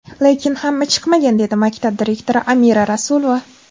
Lekin hamma chiqmagan”, dedi maktab direktori Amira Rasulova.